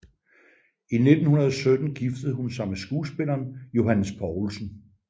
I 1917 giftede hun sig med skuespilleren Johannes Poulsen